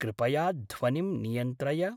कृपया ध्वनिं नियन्त्रय।